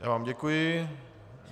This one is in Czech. Já vám děkuji.